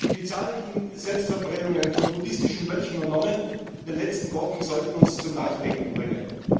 Die zahlreichen Selbstverbrennungen von buddhistischen Mönchen und Nonnen in den letzten Wochen sollten uns zum Nachdenken bringen.